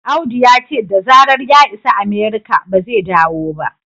Audu ya ce da zarar ya isa Amerika ba zai dawo ba